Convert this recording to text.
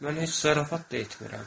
Mən heç zarafat da etmirəm.